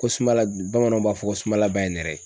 Ko sunbala bamananw b'a fɔ ko sunbala ba ye nɛrɛ ye.